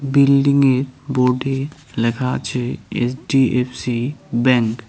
বিল্ডিংয়ের বোর্ডে লেখা আছে এইচ_ডি_এফ_সি ব্যাঙ্ক ।